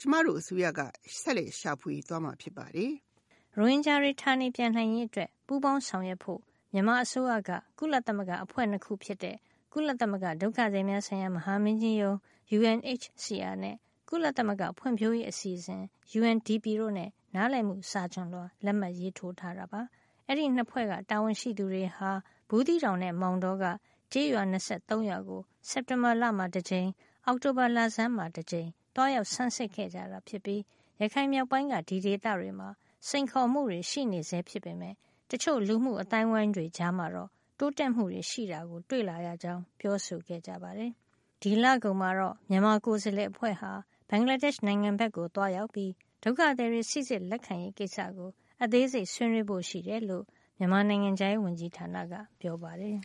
ကျမတို့အစိုးရက ဆက်လက်ရှာဖွေသွားမှာ ဖြစ်ပါတယ်။” ရိုဟင်ဂျာတွေ ဌာနေပြန်နိုင်ရေးအတွက် ပူးပေါင်းဆောင်ရွက်ဖို့ မြန်မာအစိုးရက ကုလသမဂ္ဂအဖွဲ့ ၂ ခုဖြစ်တဲ့ ကုလသမဂ္ဂ ဒုက္ခသည်များဆိုင်ရာ မဟာမင်းကြီးရုံးး UNHCR နဲ့ ကုလသမဂ္ဂ ဖွံ့ဖြိုးရေးအစီအစဉ် UNDP တို့နဲ့ နားလည်မှုစာချွန်လွှာ လက်မှတ်ရေးထိုးထားတာပါ။ ဒီ ၂ ဖွဲ့က တာဝန်ရှိသူတွေဟာ ဘူးသီးတောင်နဲ့ မောင်တောက ကျေးရွာ ၂၃ ရွာကို စက်တင်ဘာလမှာတကြိမ် အောက်တိုဘာလဆန်းမှာတကြိမ် သွားရောက်ဆန်းစစ်ခဲ့ကြ တာဖြစ်ပြီး ရခိုင်မြောက်ပိုင်းက ဒီဒေသတွေမှာ စိန်ခေါ်မှုတွေ ရှိနေဆဲဖြစ်ပေမယ့် တချို့လူမှု အသိုင်းဝိုင်းတွေ ကြားမှာတော့ တိုးတက်မှုတွေ ရှိတာ တွေ့လာရကြောင်း ပြောဆိုခဲ့ပါတယ်။ ဒီလကုန်မှာတော့ မြန်မာကိုယ်စားလှယ်အဖွဲ့ဟာ ဘင်္ဂလားဒေ့ရှ်နိုင်ငံဘက်ကို သွားရောက်ပြီး ဒုက္ခသည်တွေ စီစစ်လက်ခံရေး ကိစ္စကို အသေးစိတ် ဆွေးနွေးဖို့ရှိတယ်လို့လည်း မြန်မာနိုင်ငံခြားရေး ဝန်ကြီးဌာနက ပြောပါတယ်။